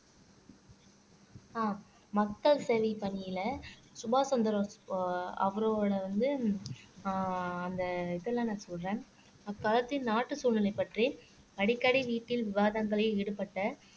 அஹ் மக்கள் சேவை பணியிலே சுபாஷ் சந்திர அவரோட வந்து அஹ் அந்த இதெல்லாம் நான் சொல்றேன் அந்நாட்டு சூழலை பற்றி அடிக்கடி வீட்டில் விவாதங்களில் ஈடுபட்ட